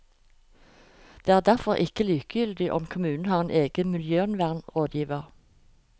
Det er derfor ikke likegyldig om kommunen har en egen miljøvernrådgiver.